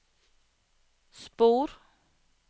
spor